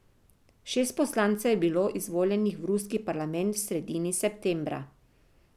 Šest poslancev je bilo izvoljenih v ruski parlament v sredini septembra.